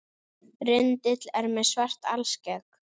Rindill með svart alskegg